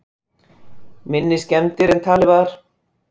Minni skemmdir en talið var